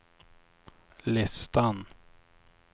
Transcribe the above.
listan